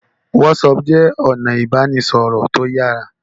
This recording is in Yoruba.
Whatsapp jé ọnà ibanisọrọ tíó yàrá